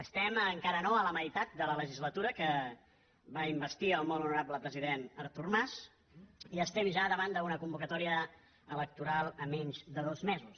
estem encara no a la meitat de la legislatura que va investir el molt honorable president artur mas i estem ja davant d’una convocatòria electoral a menys de dos mesos